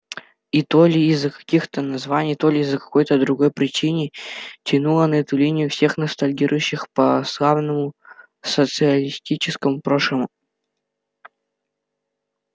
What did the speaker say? и то ли из-за таких названий то ли по какой-то другой причине тянуло на эту линию всех ностальгирующих по славному социалистическому прошлому